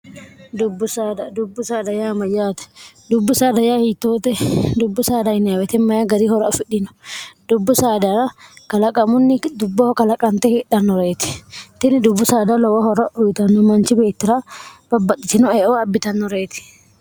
dubbuddubbu saadaya mayyaate dubbu dy hiitoote dubbu sadinwetmy gari hora ofidhino dubbu saadara kalaqamunni dubboho kalaqante heedhannoreeti tini dubbu saada lowo hora uyitanno manchi beettira babbaxxitino eoo abbitannoreeti